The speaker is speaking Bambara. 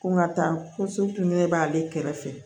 Ko ŋa taa ko b'ale kɛrɛfɛ